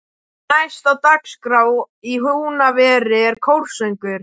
Næst á dagskrá í Húnaveri er kórsöngur.